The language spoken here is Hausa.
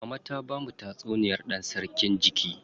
Mama ta bamu tatsuniyar dan sarki jiki.